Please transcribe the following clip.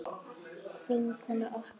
Vinkona okkar.